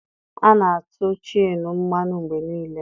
A na-atụ cheenụ mmanụ mgbe niile.